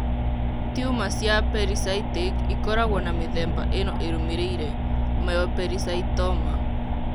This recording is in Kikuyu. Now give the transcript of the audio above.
Tiuma cia pericytic ĩkoragũo na mĩthemba ĩno ĩrũmĩrĩire :Myopericytoma.